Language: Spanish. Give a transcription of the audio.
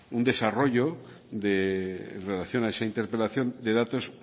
un desarrollo en relación a esa interpelación de datos